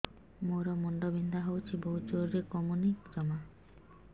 ମୋର ମୁଣ୍ଡ ବିନ୍ଧା ହଉଛି ବହୁତ ଜୋରରେ କମୁନି ଜମା